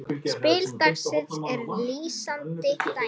Spil dagsins er lýsandi dæmi.